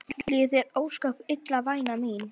Líður þér ósköp illa væna mín?